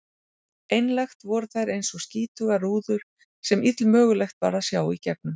Einlægt voru þær einsog skítugar rúður sem illmögulegt var að sjá gegnum.